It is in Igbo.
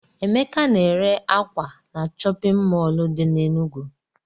Emeka na-ere ákwà na chọpịn mọọlụ dị n'Enugwu.